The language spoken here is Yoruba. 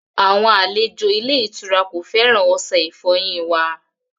Àwọn aléjò ilẹ̀-ìtura kò fẹ́ran ọṣẹ̀-ìfọ́yin wà.